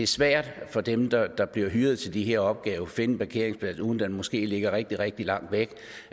svært for dem der der bliver hyret til de her opgaver at finde en parkeringsplads uden at den måske ligger rigtig rigtig langt væk